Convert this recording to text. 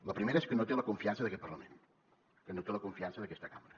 la primera és que no té la confiança d’aquest parlament que no té la confiança d’aquesta cambra